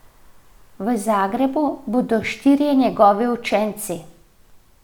V Zagrebu bodo štirje njegovi učenci.